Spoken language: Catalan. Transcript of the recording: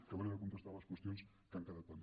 acabaré de contestar les qüestions que han quedat pendents